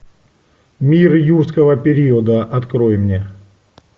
мир юрского периода открой мне